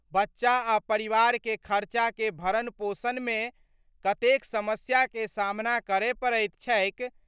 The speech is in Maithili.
बच्चा आ परिवार के खर्चा के भरण-पोषण मे कतेक समस्या के सामना करय पड़ैत छैक।